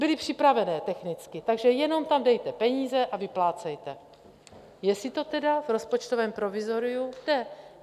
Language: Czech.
Byly připravené technicky, takže jenom tam dejte peníze a vyplácejte, jestli to tedy v rozpočtovém provizoriu jde.